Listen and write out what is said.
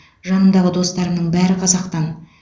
жанымдағы достарымның бәрі қазақтан